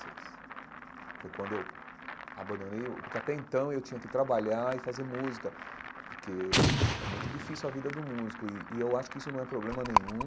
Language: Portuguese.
foi quando eu abandonei o, porque até então eu tinha que trabalhar e fazer música, porque é muito difícil a vida do músico, e e eu acho que isso não é problema nenhum.